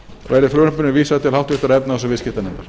verði frumvarpinu vísað til háttvirtrar efnahags og viðskiptanefndar